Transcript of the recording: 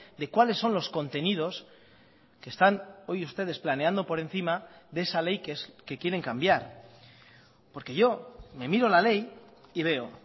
de cuáles son los contenidos que están hoy ustedes planeando por encima de esa ley que quieren cambiar porque yo me miro la ley y veo